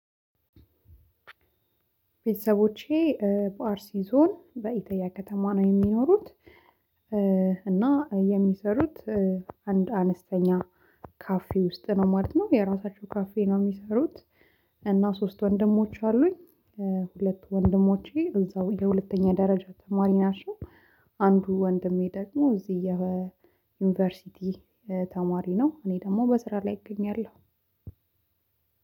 ቤተሰቦቼ በአርሲ ዞን በኢተያ ከተማ ነው የሚኖሩት እና የሚያሠሩት አንድ አነስተኛ ካፌ ውስጥ ነው ማለት ነው፤ የራሳቸው ካፌ ነው የሚሰሩት እና ሶስት ወንድሞች አሉኝ ሁለቱ ወንድሞቼ እዛው የሁለተኛ ደረጃ ተማሪ ናቸው። አንዱ ወንድሜ ደግሞ እዚህ የዩኒቨርሲቲ ተማሪ ነው እኔ ደግሞ በስራ ላይ እገኛለሁ።